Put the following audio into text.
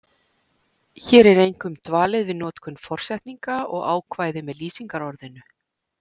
Hér er einkum dvalið við notkun forsetninga og ákvæði með lýsingarorðinu.